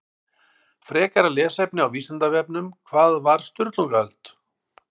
Frekara lesefni á Vísindavefnum Hvað var Sturlungaöld?